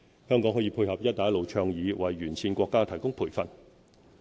香港可配合"一帶一路"倡議，為沿線國家提供培訓。